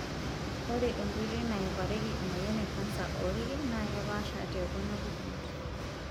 Ore enkoitoi naepareki emoyian e kansa oolki naa kepaasha tekuna pukunot.